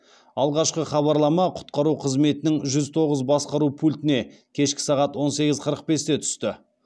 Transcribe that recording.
алғашқы хабарлама құтқару қызметінің жүз тоғыз басқару пультіне кешкі сағат он сегіз қырық бесте түсті